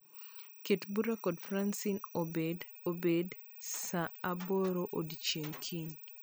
Ket bura kod Fracine obed obed saa aboro odiechieng' kiny